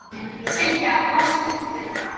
Sylgja, læstu útidyrunum.